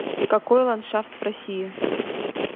какой ландшафт в россии